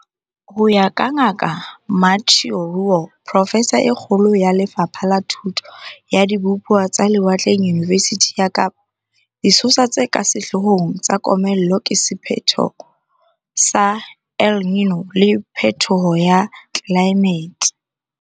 Ho ya ka Ngaka Mathieu Roualt, profesa e kgolo ya Le fapha la Thuto ya Dibupuwa tsa Lewatleng Yunivesithing ya Kapa, disosa tse ka sehloo hong tsa komello ke sephetho sa El Niño le phethoho ya tlelaemete.